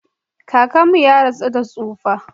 Kakanmu ya rasu da tsufa.